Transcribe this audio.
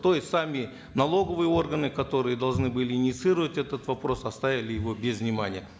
то есть сами налоговые органы которые должны были инициировать этот вопрос оставили его без внимания